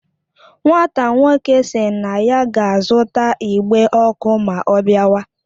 Nwata nwoke si na ya ga azuta igbe oku ma o biawa